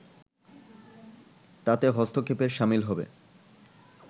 তাতে হস্তক্ষেপের শামিল হবে